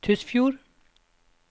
Tysfjord